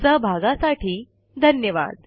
सहभागासाठी धन्यवाद